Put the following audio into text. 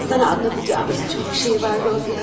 Sana anlatacağımız çox şey var, Rodiya.